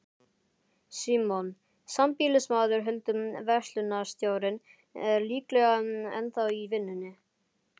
Símon, sambýlismaður Huldu, verslunarstjórinn, er líklega ennþá í vinnunni.